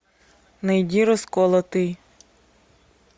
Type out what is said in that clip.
найди расколотый